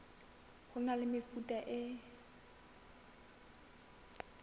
ho na le mefuta e